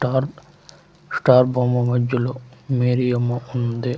Dark stop బొమ్మ మద్యలో Mary అమ్మ ఉంది.